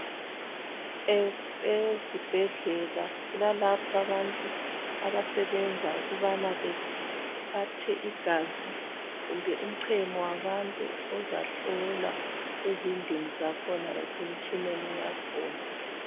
Ezibhedlela kulalapha abantu abasebenza ukubana bethathe igazi kumbe uchemo wabantu ozahlolwa ezidlini zakhona lasemtshineni yakhona.